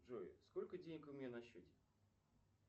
джой сколько денег у меня на счете